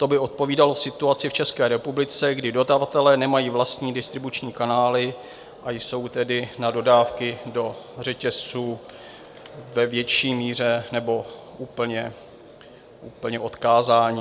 To by odpovídalo situaci v České republice, kdy dodavatelé nemají vlastní distribuční kanály, a jsou tedy na dodávky do řetězců ve větší míře nebo úplně odkázáni.